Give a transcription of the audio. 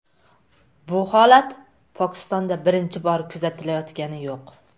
Bu holat Pokistonda birinchi bor kuzatilayotgani yo‘q.